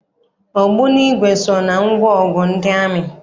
Ogbunigwe so na ngwaọgụ ndị amị.